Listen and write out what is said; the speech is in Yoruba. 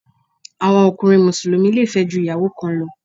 Àwọn ọkùnrin Mùsùlùmí le fẹ́ ju ìyàwó kan lọ.